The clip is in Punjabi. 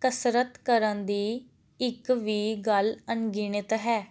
ਕਸਰਤ ਕਰਨ ਦੀ ਇੱਕ ਵੀ ਗੱਲ ਅਣਗਿਣਤ ਹੈ